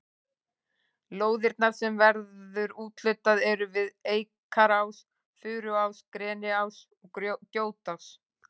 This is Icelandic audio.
Lóðirnar sem verður úthlutað eru við Eikarás, Furuás, Greniás og Grjótás.